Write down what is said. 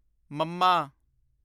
ਮੱਮਾ